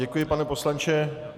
Děkuji, pane poslanče.